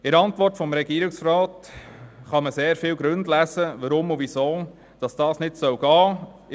In der Antwort des Regierungsrats kann man sehr viele Gründe lesen, warum und weshalb dies nicht möglich sein soll.